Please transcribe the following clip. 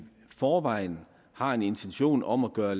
forvejen har en intention om at gøre